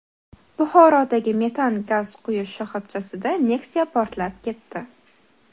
Buxorodagi metan gaz quyish shoxobchasida Nexia portlab ketdi .